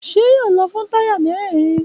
Ṣé yóò lọ fún táyà mérèèrin?